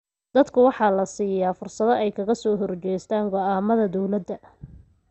Dadka waxaa la siiyaa fursad ay kaga soo horjeestaan ??go�aamada dowladda.